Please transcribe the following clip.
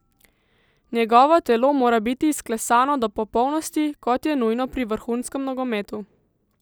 Njegovo telo mora biti izklesano do popolnosti, kot je nujno pri vrhunskem nogometu.